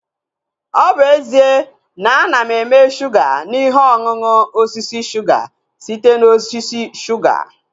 Ọ bụ ezie na ana eme shuga na ihe ọṅụṅụ osisi suga site na osisi shuga